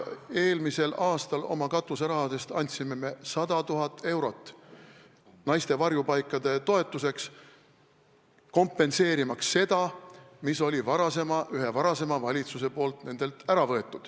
Eelmisel aastal andsime oma katuserahast 100 000 eurot naiste varjupaikade toetuseks, kompenseerimaks seda, mille üks varasem valitsus oli nendelt ära võtnud.